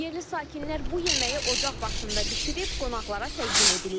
Yerli sakinlər bu yeməyi ocaq başında bişirib qonaqlara təqdim edirlər.